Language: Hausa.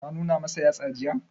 Ka nuna masu yatsa jiya?